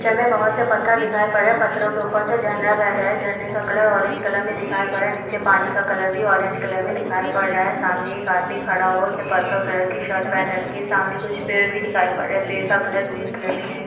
Picture में बहुत से पत्थर दिखाई पड़ रहे हैं पत्थरों के ऊपर से झरना बह रहा है झरने का कलर औरेंज कलर में दिखाई पड़ रहा है नीचे पानी का कलर भी औरेंज कलर में दिखाई पड़ रहा है सामने एक आदमी खड़ा हुआ है उसने पर्पल कलर की शर्ट पहन रखी है सामने कुछ पेड़ भी दिखाई पड़ रहे हैं पेड़ का कलर ग्रीन कलर में है।